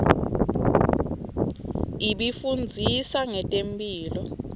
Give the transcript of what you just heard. ibifundzisa nqetemphilo